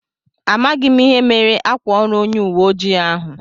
Amághi m ihe mere ákwà órù onye uwe ojii ahụ